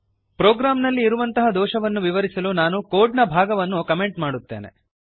ಪ್ರೋಗ್ರಾಂನಲ್ಲಿ ಇರುವಂತಹ ದೋಷವನ್ನು ವಿವರಿಸಲು ನಾನು ಕೋಡ್ ನ ಭಾಗವನ್ನು ಕಮೆಂಟ್ ಮಾಡುತ್ತೇನೆ